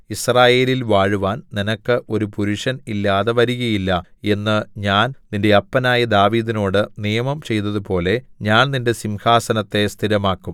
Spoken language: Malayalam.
യിസ്രായേലിൽ വാഴുവാൻ നിനക്ക് ഒരു പുരുഷൻ ഇല്ലാതെ വരുകയില്ല എന്നു ഞാൻ നിന്റെ അപ്പനായ ദാവീദിനോട് നിയമം ചെയ്തതുപോലെ ഞാൻ നിന്റെ സിംഹാസനത്തെ സ്ഥിരമാക്കും